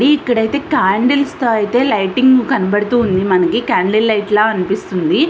ఇది ఇక్కడైతే కండ్లెస్ తో ఐతే లైటింగ్ కనబడుతుంది మనకి కండ్లె లైట్ ల అన్పిస్తుంది.